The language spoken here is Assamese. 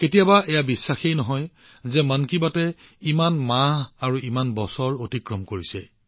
কেতিয়াবা বিশ্বাস কৰা কঠিন হয় যে মন কী বাত আৰম্ভ হোৱাৰ ইমান মাহ ইমান বছৰ পাৰ হৈ গৈছে